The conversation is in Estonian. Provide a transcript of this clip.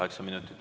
Kaheksa minutit.